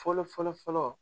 Fɔlɔ fɔlɔ fɔlɔ!